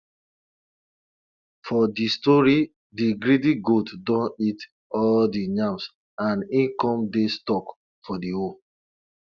for de story de greedy goat don eat all dey yams and e come dey stuck for de hole